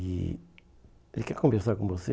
E ele quer conversar com você.